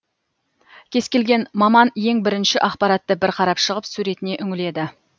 кез келген маман ең бірінші ақпаратты бір қарап шығып суретіне үңіледі